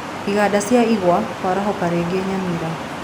Iganda cia igwa kwarahuka rĩngĩ Nyamira